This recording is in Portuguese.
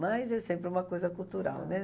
Mas é sempre uma coisa cultural, né?